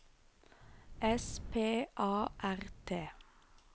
S P A R T